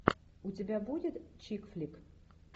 у тебя будет чикфлик